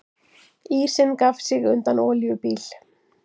Ísinn gaf sig undan olíubíl